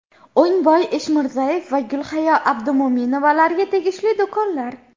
O‘ngboy Eshmirzayev va Gulhayo Abdumo‘minovalarga tegishli do‘konlar.